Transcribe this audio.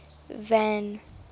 van